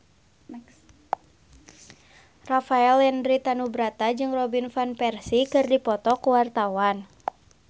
Rafael Landry Tanubrata jeung Robin Van Persie keur dipoto ku wartawan